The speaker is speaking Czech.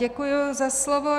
Děkuji za slovo.